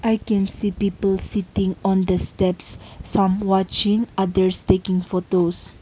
i can see peoples sitting on the steps some watching others taking photos.